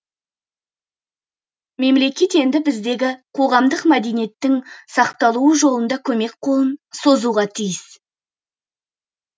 мемлекет енді біздегі қоғамдық мәдениеттің сақталуы жолында көмек қолын созуға тиіс